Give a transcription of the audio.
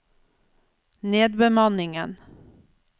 nedbemanningen